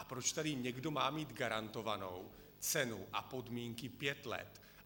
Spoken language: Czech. A proč tady někdo má mít garantovanou cenu a podmínky pět let?